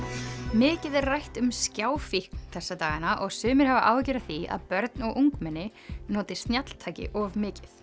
mikið er rætt um þessa dagana og sumir hafa áhyggjur af því að börn og ungmenni noti snjalltæki of mikið